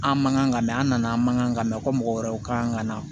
An man kan ka mɛn an nana an man ka mɛn ko mɔgɔ wɛrɛw kan ka na